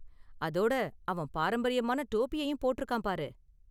அதோட அவன் பாரம்பரியமான டோபியையும் போட்டிருக்கான் பாரு.